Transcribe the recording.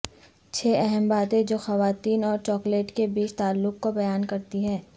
چھ اہم باتیں جو خواتین اور چاکلیٹ کے بیچ تعلق کو بیان کرتی ہیں